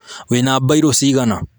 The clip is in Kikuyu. Wĩna mbairũ cigana?